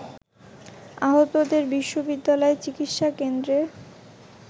আহতদের বিশ্ববিদ্যালয় চিকিৎসা কেন্দ্রে